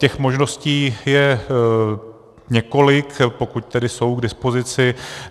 Těch možností je několik, pokud tedy jsou k dispozici.